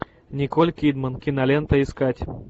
николь кидман кинолента искать